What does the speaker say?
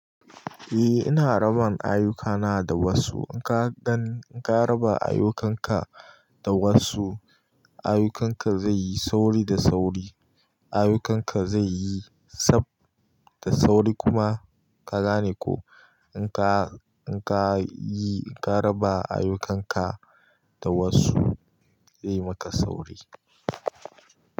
Eh ina raban ayyukana da wasu. In ka gan, in ka raba ayyukan ka da wasu, ayyukan ka zai yi sauri da sauri. Ayyukan ka zai yi tsab da sauri kuma ka gane ko in ka, in ka yi, in ka raba ayyukan ka da wasu, zai maka sauri.